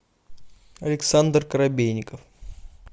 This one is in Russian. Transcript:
александр корабейников